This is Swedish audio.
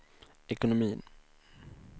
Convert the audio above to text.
ekonomin